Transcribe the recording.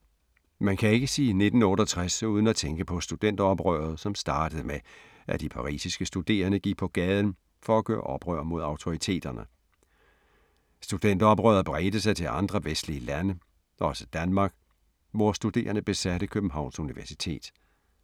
Man kan ikke sige 1968 uden at tænke på studenteroprøret som startede med, at de parisiske studerende gik på gaden for at gøre oprør mod autoriteterne. Studenteroprøret bredte sig til andre vestlige lande, også Danmark, hvor studerende besatte Københavns Universitet.